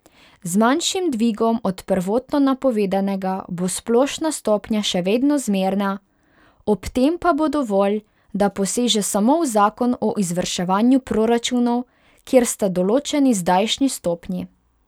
Z manjšim dvigom od prvotno napovedanega bo splošna stopnja še vedno zmerna, ob tem pa bo dovolj, da poseže samo v zakon o izvrševanju proračunov, kjer sta določeni zdajšnji stopnji.